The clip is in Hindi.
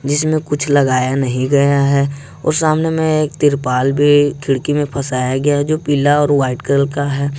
जिसमे कुछ लगाया नहीं गया है और सामने में एक तिरपाल भी खिड़की में फसाया गया है जो पीला और व्हाइट कलर का है।